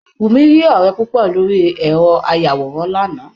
Wùmí rí ọ̀rẹ́ púpọ̀ lórí ẹ̀rọ ayàwòrán láàná